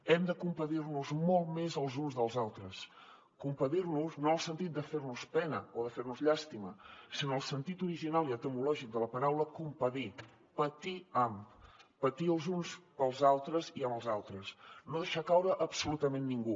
hem de compadir nos molt més els uns dels altres compadir nos no el sentit de fer nos pena o de fer nos llàstima sinó en el sentit original i etimològic de la paraula compadir patir amb patir els uns pels altres i amb els altres no deixar caure absolutament a ningú